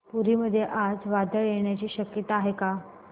पुरी मध्ये आज वादळ येण्याची शक्यता आहे का